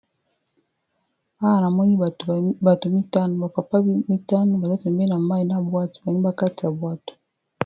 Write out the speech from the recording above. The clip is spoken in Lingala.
awa na moni bato 5ano bapapa 5 bazapembena mai na bwato banibakati ya bwato